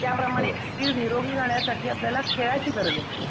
त्याप्रमाणे निरोगी राहण्यासाठी आपल्याला खेळाची गरज असते.